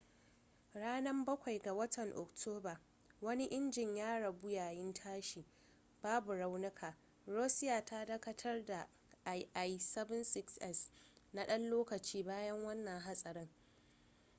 ranan bakwai 7 ga watan oktoba wani injin ya rabu yayin tashi babu raunuka. russia ta dakatar da ii-76s na dan lokaci bayan wannan hatsari